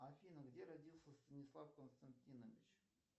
афина где родился станислав константинович